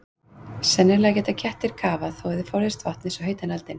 Sennilega geta kettir kafað þó þeir forðist vatn eins og heitan eldinn.